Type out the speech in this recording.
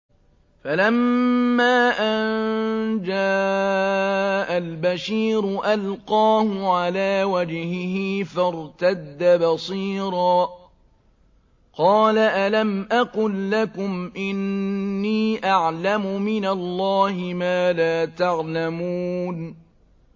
فَلَمَّا أَن جَاءَ الْبَشِيرُ أَلْقَاهُ عَلَىٰ وَجْهِهِ فَارْتَدَّ بَصِيرًا ۖ قَالَ أَلَمْ أَقُل لَّكُمْ إِنِّي أَعْلَمُ مِنَ اللَّهِ مَا لَا تَعْلَمُونَ